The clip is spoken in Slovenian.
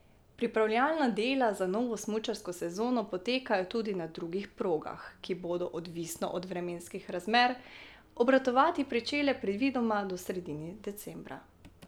Pripravljalna dela za novo smučarsko sezono potekajo tudi na drugih progah, ki bodo, odvisno od vremenskih razmer, obratovati pričele predvidoma do sredine decembra.